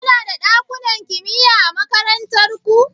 Kuna da ɗakunan kimiya a makarantar ku?